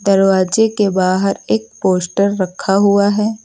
दरवाजे के बाहर एक पोस्टर रखा हुआ है।